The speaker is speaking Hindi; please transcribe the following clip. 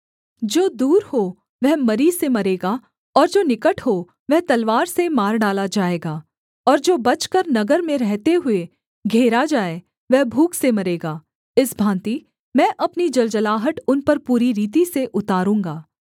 जो दूर हो वह मरी से मरेगा और जो निकट हो वह तलवार से मार डाला जाएगा और जो बचकर नगर में रहते हुए घेरा जाए वह भूख से मरेगा इस भाँति मैं अपनी जलजलाहट उन पर पूरी रीति से उतारूँगा